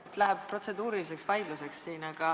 Siin läheb protseduuriliseks vaidluseks.